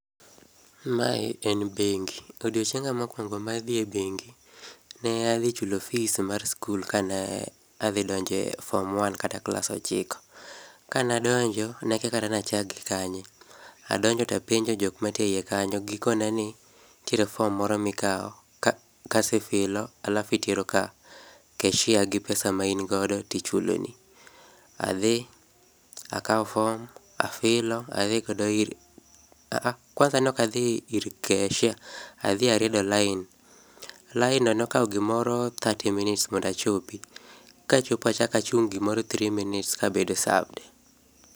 Mae en bengi. Odiochienga mokwongo mar dhie bengi, ne adhi chulo fees mar school kane adhi donje form one kata klas ochiko. Kana donjo, nakia kata nachak gi kanye. Adonjo tapenjo jok mantie eie kanyo, gikona ni ntiere form moro mikao, ka kasefilo []csalafu itero ka cashier gi pesa maingodo tichuloni. Adhi, akao form, afilo adhigodo ir a a kwanza nokadhi ir cashier adhi ariedo line. Line no nokao gimoro thirty minutes mondo achopi. Kachopo achaka chung' gimoro three minutes kabedo served.